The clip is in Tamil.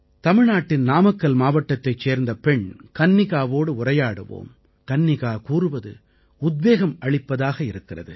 தமிழ்நாட்டின் நாமக்கல் மாவட்டத்தைச் சேர்ந்த பெண் கன்னிகாவோடு உரையாடுவோம் கன்னிகா கூறுவது உத்வேகம் அளிப்பதாக இருக்கிறது